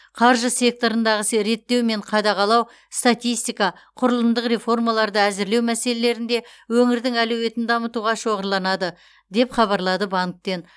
қаржы секторындағы реттеу мен қадағалау статистика құрылымдық реформаларды әзірлеу мәселелерінде өңірдің әлеуетін дамытуға шоғырланады деп хабарлады банктен